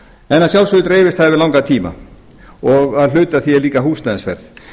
en að sjálfsögðu dreifist það yfir langan tíma og að hluta til líka húsnæðisverð